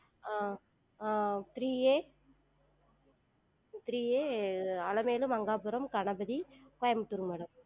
அஹ் அஹ் three A three A Alamelu Mangapuram Ganapathy கோயம்புத்தூர்ங்க madam